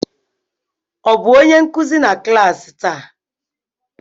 Ọ bụ onye nkuzi na klas taa?